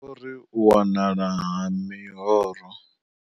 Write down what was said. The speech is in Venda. Vho ri u wanala ha miroho.